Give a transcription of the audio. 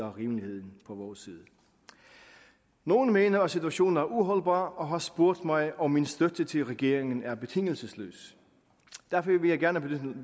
rimeligheden på vores side nogle mener at situationen er uholdbar og har spurgt mig om min støtte til regeringen er betingelsesløs derfor vil jeg gerne benytte